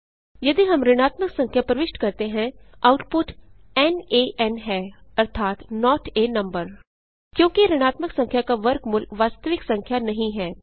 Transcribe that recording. यदि हम ऋणात्मक संख्या प्रविष्ट करते हैं आउटपुट नान है अर्थात नोट आ नंबर क्योंकि ऋणात्मक संख्या का वर्गमूल वास्तविक संख्या नहीं है